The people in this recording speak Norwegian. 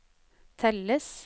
telles